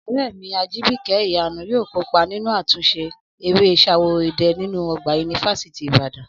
Ọ̀rẹ́ mi Ajìbìkẹ́ Ìyanu yóò kópa nínú àtúnṣe eré Ṣaworo idẹ nínú ọgbà yunifásítì Ìbàdàn